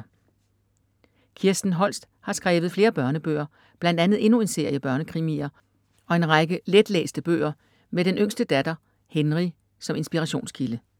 Kirsten Holst har skrevet flere børnebøger bl. a. endnu en serie børnekrimier og en række let læste bøger med den yngste datter, Henry, som inspirationskilde.